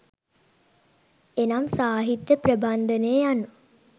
එනම් සාහිත්‍ය ප්‍රබන්ධය යනු